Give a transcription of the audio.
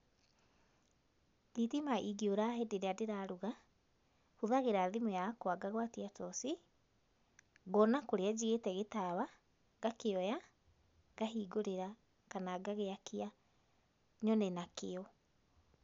Thitima ingĩũra hĩndĩ ĩrĩa ndĩraruga, hũthagĩra thimũ yakwa ngagwatia toci, ngona kũrĩa njigĩte gĩtawa, ngakĩoya ngahingũrĩra kana ngagĩakia, nyone nakĩo.